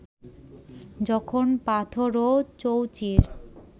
যখন পাথরও চৌচির